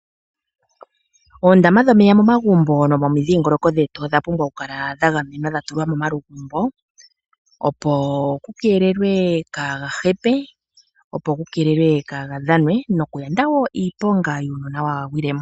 Oondama dhomeya momagumbo nomomidhiingoloko dhetu odha pumbwa oku kala dhagamenwa dhatulwa momalugumbo opo ku keelelwe kaagahepe, kaagadhanwe nokuyanda wo iiponga yuunona waagwile mo.